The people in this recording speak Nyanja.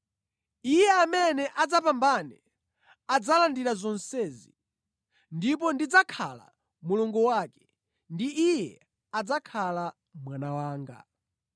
Iye amene adzapambane adzalandira zonsezi, ndipo ndidzakhala Mulungu wake ndi Iye adzakhala mwana wanga.